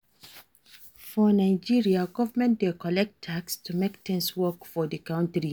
For Nigeria, government dey collect tax to make things work for di country